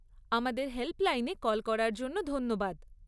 আমাদের হেল্পলাইনে কল করার জন্য ধন্যবাদ।